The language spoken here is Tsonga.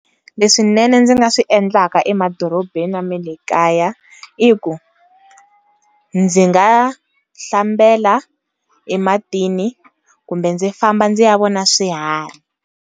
Leswinene ndzi nga swi endlaka emadorobeni ya ma le kaya, i ku ndzi ngahlambela ematini kumbe ndzi famba ndzi ya vona swiharhi.